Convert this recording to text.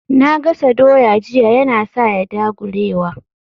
Na gasa doya jiya Yana sa ya dagulewa